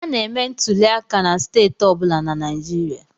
A na-eme ntuliaka na steeti ọ bụla na Naịjirịa.